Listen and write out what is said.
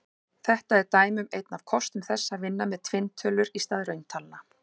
Þetta er dæmi um einn af kostum þess að vinna með tvinntölur í stað rauntalna.